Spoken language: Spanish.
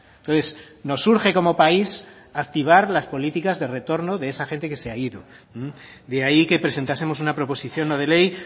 entonces nos urge como país activar las políticas de retorno de esa gente que se ha ido de ahí que presentásemos una proposición no de ley